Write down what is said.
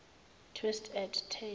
twist at tail